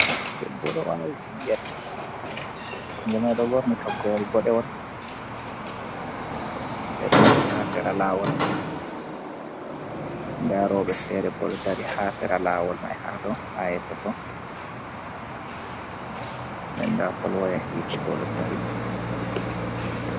Debbo ɗo vawi ɓingel den oɗo ɓorni toggowol boɗewol ɓeɗo dilla ha sera lawol, nda roɓɓe fere bo ɗo dari ha sera lawol man ha to ha yeso to, den nda polwaya hitte bo ɗo dari.